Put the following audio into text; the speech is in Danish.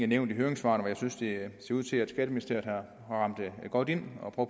nævnt i høringssvarene hvor jeg synes det ser ud til at skatteministeriet har ramt godt ind og